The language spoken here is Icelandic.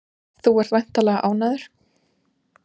Þú ert væntanlega ánægður?